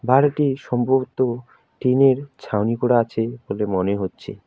বাড়িটি সম্ভবত টিনের ছাউনি করা আছে বলে মনে হচ্ছে।